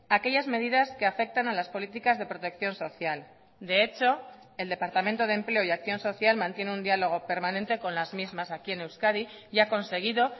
aquellas medidas que afectan a las políticas de protección social de hecho el departamento de empleo y acción social mantiene un diálogo permanente con las mismas aquí en euskadi y ha conseguido